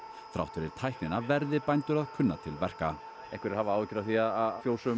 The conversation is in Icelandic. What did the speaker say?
þrátt fyrir tæknina verði bændur að kunna til verka einhverjir hafa áhyggjur af því að fjósum